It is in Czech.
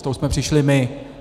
S tou jsme přišli my.